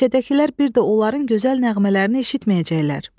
Meşədəkilər bir də onların gözəl nəğmələrini eşitməyəcəklər.